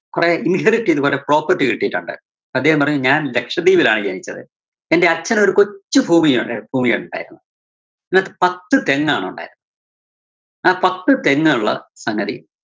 കൊറേ ചെയ്ത് കൊറേ property കിട്ടിയിട്ടുണ്ട്. അദ്ദേഹം പറഞ്ഞു ഞാന്‍ ലക്ഷദ്വീപിലാണ് ജനിച്ചത് എന്റെ അച്ഛനൊരു കൊച്ചു ഭൂമിയുണ്ട്, ഭൂമിയുണ്ടായിരുന്നു. അതിനകത്ത് പത്തു തെങ്ങാണുണ്ടായിരുന്നത്. ആ പത്തു തെങ്ങുള്ള സംഗതി